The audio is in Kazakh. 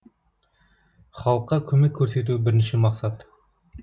халыққа көмек көрсету бірінші мақсат